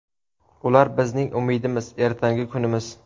Ular bizning umidimiz, ertangi kunimiz.